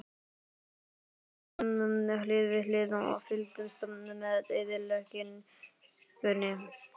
Við Sölvi stóðum hlið við hlið og fylgdumst með eyðileggingunni.